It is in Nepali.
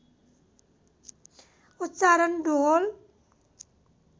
उच्चारण डुह्होल